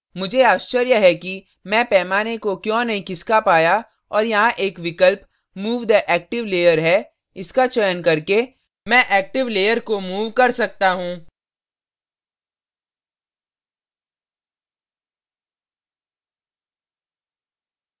मुझे आश्चर्य है कि मैं पैमाने को क्यों नहीं खिसका पाया और यहाँ एक विकल्प move the active layer है इसका चयन करके मैं active layer को move कर सकता हूँ